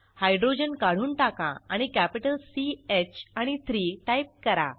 hydrogen काढून टाका आणि कॅपिटल सी ह आणि 3 टाईप करा